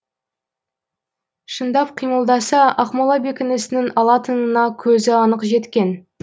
шындап қимылдаса ақмола бекінісінің алынатынына көзі анық жеткен